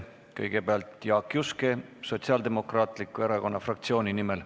Kõigepealt Jaak Juske Sotsiaaldemokraatliku Erakonna fraktsiooni nimel.